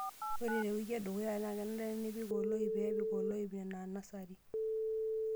Ore te wiki edukuya naa kenare pee ipik oloip nena nasari.